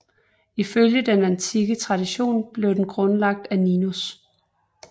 Ifølge den antikke tradition blev den grundlagt af Ninus